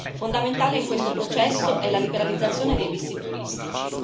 Fondamentale in questo processo è la liberalizzazione dei visti turistici.